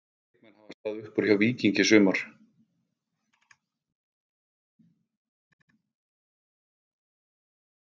Hvaða leikmenn hafa staðið upp úr hjá Víkingi í sumar?